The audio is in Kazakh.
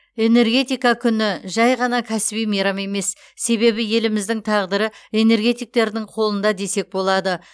энергетика күні жай ғана кәсіби мейрам емес себебі еліміздің тағдыры энергетиктердің қолында десек болады